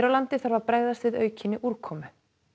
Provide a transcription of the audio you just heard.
landi þarf að bregðast við aukinni úrkomu